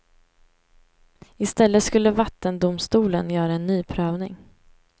I stället skulle vattendomstolen göra en ny prövning.